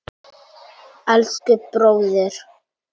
Elsku, bróðir.